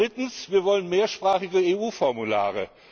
Drittens Wir wollen mehrsprachige EU Formulare.